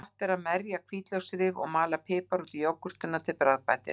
Gott er að merja hvítlauksrif og mala pipar út í jógúrtina til bragðbætis.